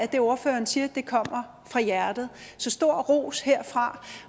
det ordføreren siger kommer fra hjertet så stor ros herfra